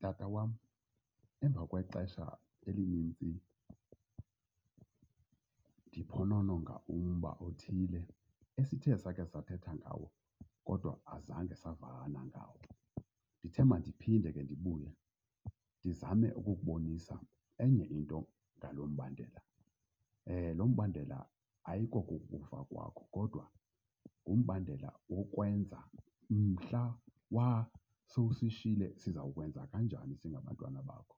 Tata wam, emva kwexesha elinintsi ndiphonononga umba othile esithe sakhe sathetha ngawo kodwa azange savana ngawo, ndithe madiphinde ke ndibuye ndizame ukukubonisa enye into ngalo mbandela. Lo mbandela ayiko kukufa kwakho kodwa ngumbandela wokwenza mhla wa sowusishiyile siza kwenza kanjani singabantwana bakho.